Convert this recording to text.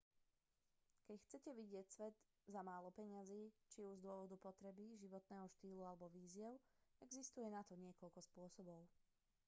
ak chcete vidieť svet za málo peňazí či už z dôvodu potreby životného štýlu alebo výziev existuje na to niekoľko spôsobov